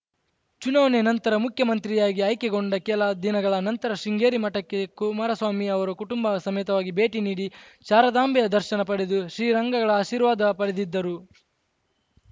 ಚುನಾವಣೆ ನಂತರ ಮುಖ್ಯಮಂತ್ರಿಯಾಗಿ ಆಯ್ಕೆಗೊಂಡ ಕೆಲ ದಿನಗಳ ನಂತರ ಶೃಂಗೇರಿ ಮಠಕ್ಕೆ ಕುಮಾರಸ್ವಾಮಿ ಅವರು ಕುಟುಂಬ ಸಮೇತರಾಗಿ ಭೇಟಿ ನೀಡಿ ಶಾರದಾಂಬೆಯ ದರ್ಶನ ಪಡೆದು ಶ್ರೀರಂಗಳಗಳ ಆಶೀರ್ವಾದ ಪಡೆದಿದ್ದರು